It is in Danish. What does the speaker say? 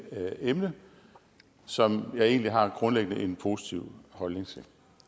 emne som jeg egentlig har en grundlæggende positiv holdning til